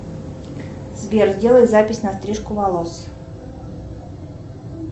сбер сделай запись на стрижку волос